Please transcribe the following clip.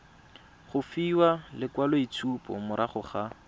go fiwa lekwaloitshupo morago ga